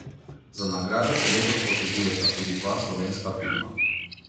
Za nagrade se letos potegujeta tudi dva slovenska filma.